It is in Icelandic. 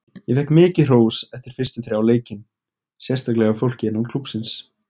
Ég fékk mikið hrós eftir fyrstu þrjá leikin, sérstaklega hjá fólki innan klúbbsins.